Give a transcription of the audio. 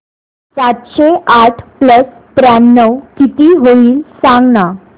सातशे आठ प्लस त्र्याण्णव किती होईल सांगना